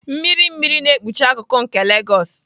Mmiri mmiri na-ekpuchi akụkụ nke Legos.